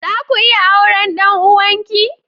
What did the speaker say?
Zaku iya auren ɗan uwanki?